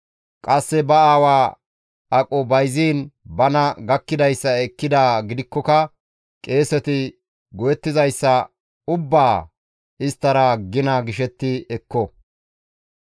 Qasse ba aawa aqo bayziin bana gakkidayssa ekkidaa gidikkoka qeeseti go7ettizayssa ubbaa isttara gina gishetti ekko.